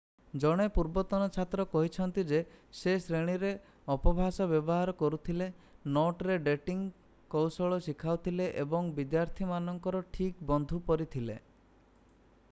ଜଣେ ପୂର୍ବତନ ଛାତ୍ର କହିଛନ୍ତି ଯେ ସେ ଶ୍ରେଣୀରେ ଅପଭାଷା ବ୍ୟବହାର କରୁଥିଲେ ନୋଟରେ ଡେଟିଂ କୌଶଳ ଶିଖାଉଥିଲେ ଏବଂ ବିଦ୍ୟାର୍ଥୀମାନଙ୍କର ଠିକ୍ ବନ୍ଧୁ ପରି ଥିଲେ